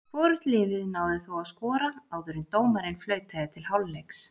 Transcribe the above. Hvorugt liðið náði þó að skora áður en dómarinn flautaði til hálfleiks.